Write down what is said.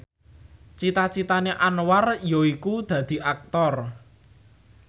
cita citane Anwar yaiku dadi Aktor